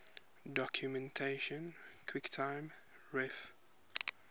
documentation quicktime ref